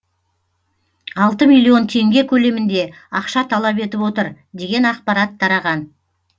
алты миллион теңге көлемінде ақша талап етіп отыр деген ақпарат тараған